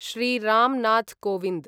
Shri Ramnath Kovind